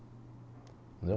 Entendeu?